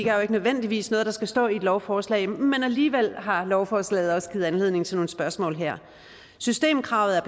jo ikke nødvendigvis noget der skal stå i et lovforslag men alligevel har lovforslaget også givet anledning til nogle spørgsmål her systemkravet